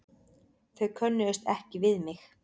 Þau könnuðust ekki við mig.